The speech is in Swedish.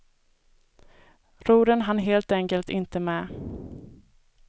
Rodren hann helt enkelt inte med.